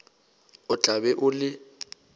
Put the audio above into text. o tla be o le